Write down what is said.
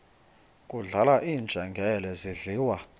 kudlala iinjengele zidliwa